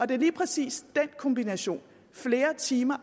det er lige præcis den kombination flere timer